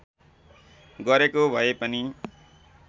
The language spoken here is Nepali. गरेको भए पनि